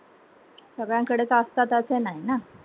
सगळ्यां कडे असतात असे नाही ना